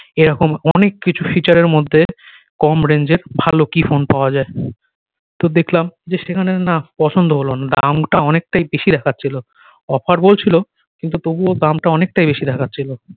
এ রকম অনেক কিছু feature এর মধ্যে কম range এর ভালো কি ফোন পাওয়া যায় তো দেখলাম যে সেখানে না পছন্দ হলো না দাম টা অনেক টাই বেশি দেখাচ্ছিলো offer বলছিলো কিন্তু তবুও দাম টা অনেকটাই বেশি দেখাচ্ছিলো